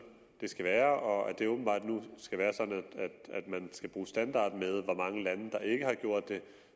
det skal være og at det åbenbart nu skal være sådan at man skal bruge standarden med hvor mange lande der ikke har gjort det